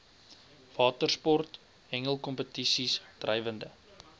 watersport hengelkompetisies drywende